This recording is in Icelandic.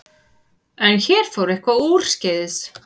En hér fór eitthvað úrskeiðis.